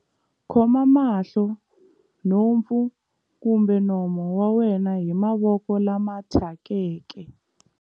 Khoma mahlo, nhompfu kumbe nomo wa wena hi mavoko lama thyakeke.